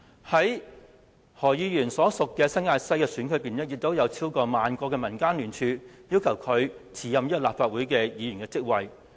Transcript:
在何議員所屬的新界西的選區裏，也有超過萬個的民間聯署，要求他辭任立法會議員職位。